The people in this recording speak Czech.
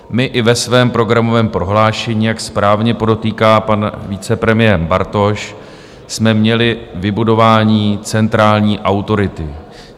My i ve svém programovém prohlášení, jak správně podotýká pan vicepremiér Bartoš, jsme měli vybudování centrální autority.